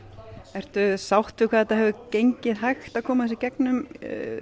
ertu sátt við hvað það hefur gengið hægt að koma þessu í gegnum